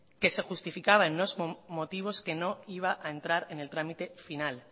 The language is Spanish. que se justificaba en unos motivos que no iba a entrar en el trámite final